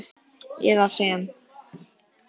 eða sem